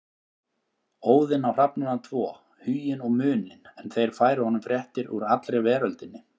Óðinn á hrafnana tvo Huginn og Muninn en þeir færa honum fréttir úr allri veröldinni.